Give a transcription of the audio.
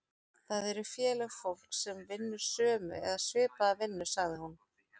Það eru félög fólks sem vinnur sömu eða svipaða vinnu, sagði hún.